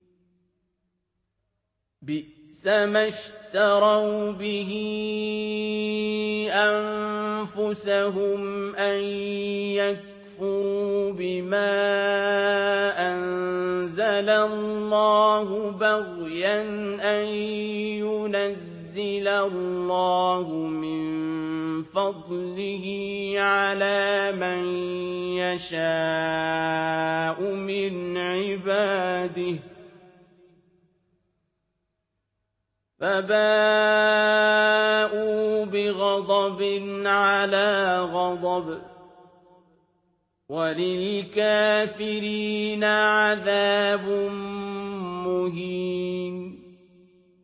بِئْسَمَا اشْتَرَوْا بِهِ أَنفُسَهُمْ أَن يَكْفُرُوا بِمَا أَنزَلَ اللَّهُ بَغْيًا أَن يُنَزِّلَ اللَّهُ مِن فَضْلِهِ عَلَىٰ مَن يَشَاءُ مِنْ عِبَادِهِ ۖ فَبَاءُوا بِغَضَبٍ عَلَىٰ غَضَبٍ ۚ وَلِلْكَافِرِينَ عَذَابٌ مُّهِينٌ